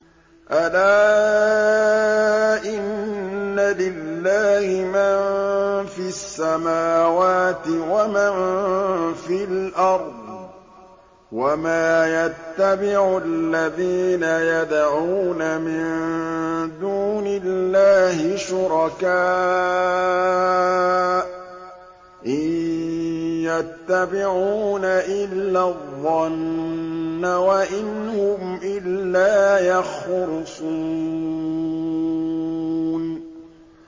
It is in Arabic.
أَلَا إِنَّ لِلَّهِ مَن فِي السَّمَاوَاتِ وَمَن فِي الْأَرْضِ ۗ وَمَا يَتَّبِعُ الَّذِينَ يَدْعُونَ مِن دُونِ اللَّهِ شُرَكَاءَ ۚ إِن يَتَّبِعُونَ إِلَّا الظَّنَّ وَإِنْ هُمْ إِلَّا يَخْرُصُونَ